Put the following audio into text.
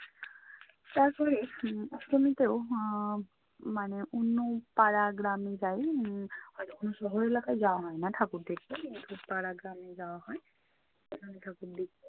তারপরে হম অষ্টমীতেও আহ মানে অন্য পাড়া গ্রামে যাই। উম হয়তো শহর এলাকায় যাওয়া হয় না ঠাকুর দেখতে। কিন্তু পাড়া গ্রামে যাওয়া হয় ওখানে ঠাকুর দেখি